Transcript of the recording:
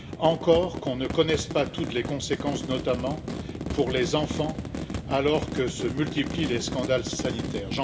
Encore qu'on ne connaisse pas toutes les conséquences, notamment pour les enfants, alors que se multiplient les scandales sanitaires.